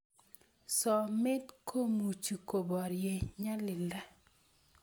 somet komuchi koborie nyalilda